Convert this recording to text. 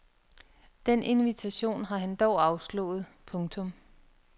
Den invitation har han dog afslået. punktum